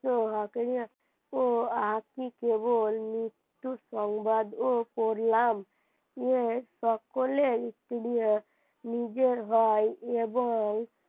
তো কেবল মৃত্যুর সংবাদ পড়লাম যে সকলেই বিরিয়া নিজের হয় এবং,